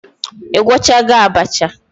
I gwochago abacha?